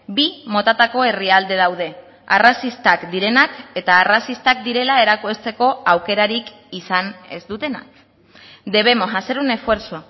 bi motatako herrialde daude arrazistak direnak eta arrazistak direla erakusteko aukerarik izan ez dutenak debemos hacer un esfuerzo